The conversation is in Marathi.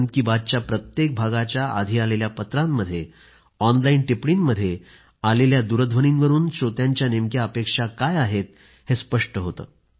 मन की बातच्या प्रत्येक भागाच्या आधी आलेल्या पत्रांमध्ये ऑनलाईन टिप्पणींमध्ये आलेल्या दूरध्वनींवरून श्रोत्यांच्या नेमक्या अपेक्षा काय आहेत हे स्पष्ट होते